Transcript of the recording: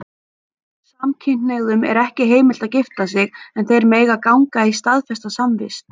Samkynhneigðum er ekki heimilt að gifta sig, en þeir mega ganga í staðfesta samvist.